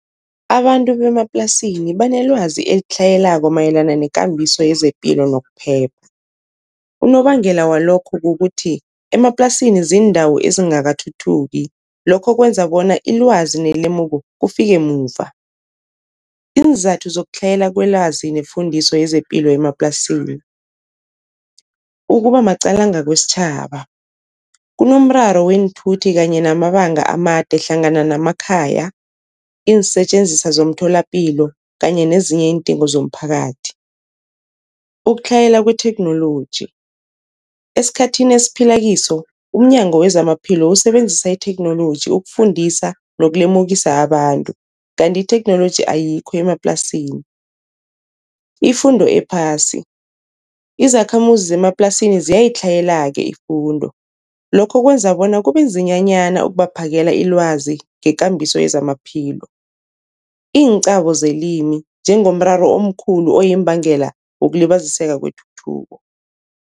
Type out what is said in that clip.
Abantu bemaplasini banelwazi elitlhayelako mayelana nekambiso yezepilo nokuphepha. Unobangela walokho kukuthi emaplasini ziindawo ezingakathuthuki lokho kwenza bona ilwazi nelemuko kufike muva. Iinzathu zokutlhayela kwelwazi nefundiso yezepilo emaplasini, ukuba maqalanga kwesitjhaba, kunomraro weenthuthi kanye namabanga amade hlangana namakhaya, iinsetjenziswa zomtholapilo kanye nezinye iindingo zomphakathi. Ukutlhayela kwetheknoloji, esikhathini esiphila kiso umNyango wezamaPhilo usebenzisa itheknoloji ukufundisa nokulemukisa abantu, kanti itheknoloji ayikho emaplasini. Ifundo ephasi, izakhamuzi zemaplasini ziyayitlhayela-ke ifundo lokho kwenza bona kube nzinyanyana ukubaphakela ilwazi ngekambiso yezamaphilo. Iinqabo zelimi njengomraro omkhulu oyimbangela wokulibaziseka kwetuthuko.